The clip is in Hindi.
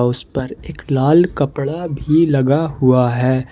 उस पर एक लाल कपड़ा भी लगा हुआ है।